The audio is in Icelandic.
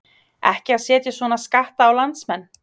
Ekki að setja svona skatta á landsmenn?